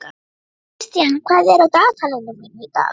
Kristian, hvað er á dagatalinu mínu í dag?